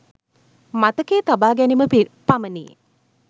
මතකයේ තබා ගැනීම පමණි.